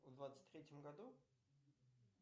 в двадцать третьем году